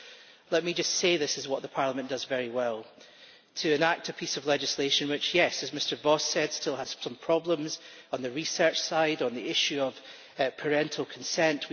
But let me just say that this is what Parliament does very well to enact a piece of legislation which yes, as Mr Voss said still has some problems on the research side, on the issue of parental consent.